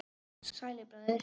Sælir bræður- sagði Smári.